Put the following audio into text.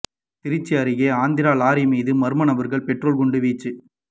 திருச்சி அருகே ஆந்திரா லாரி மீது மர்ம நபர்கள் பெட்ரோல் குண்டு வீச்சு